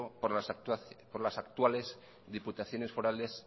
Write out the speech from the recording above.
por las actuales diputaciones forales